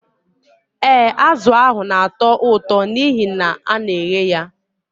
Ee, azụ ahụ na-atọ ụtọ n'ihi na a na-eghe ya